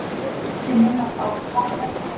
Ekki minnast á karlhelvítið